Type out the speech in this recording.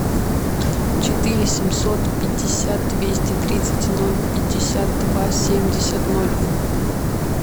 четыре семьсот пятьдесят двести тридцать ноль пятьдесят два семьдесят ноль